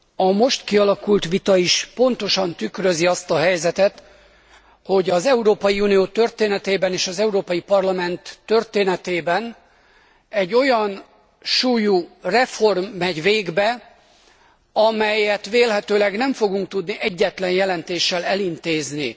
A most kialakult vita is pontosan tükrözi azt a helyzetet, hogy az Európai Unió történetében és az Európai Parlament történetében egy olyan súlyú reform megy végbe, amelyet vélhetőleg nem fogunk tudni egyetlen jelentéssel elintézni.